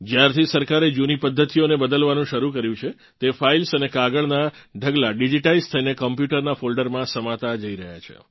જ્યારથી સરકારે જૂની પધ્ધતિઓને બદલવાનું શરૂ કર્યું છે તે ફાઇલ્સ અને કાગળનાં ઢગલાં ડિજિટાઇઝ થઇને કોમ્પ્યુટરનાં ફોલ્ડરમાં સમાતા જઇ રહ્યાં છે